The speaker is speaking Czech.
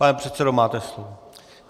Pane předsedo, máte slovo.